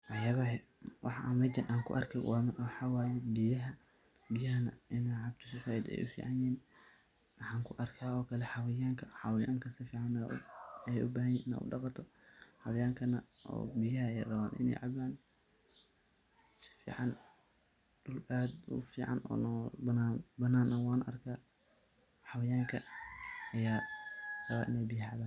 Waxyabaha, waxa meeshan AA kubarkoh marki kowat waxawaye biyahay , biyaaha Ina caabtoh saait Aya u ficanyahin waxan ku arkay oo Kali xawayanahan , xawayanga sufican Aya u bathanyahin Ina u daqatoh xawayankana biyaha, Aya raban Ina cabaan sufican duul aad u fican banan nah wa arkah xawayanga raban Ina biyaaha cabaan.